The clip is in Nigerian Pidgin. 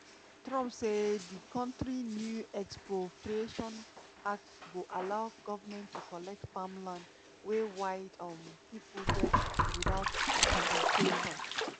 trump say di kontri new expropriation act go allow goment to collect farmland wey white um pipo get without compensation.